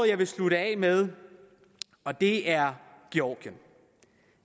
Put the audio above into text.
jeg vil slutte af med og det er georgien